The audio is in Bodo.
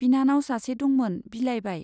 बिनानाव सासे दंमोन, बिलाइबाय।